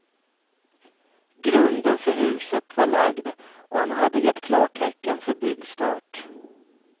Grunden för huset var lagd och han hade gett klartecken för byggstart.